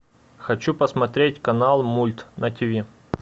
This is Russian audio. хочу посмотреть канал мульт на тв